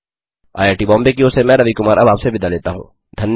IIT Bombay की ओर से मैं रवि कुमार अब आपसे विदा लेता हूँ